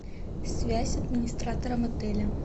связь с администратором отеля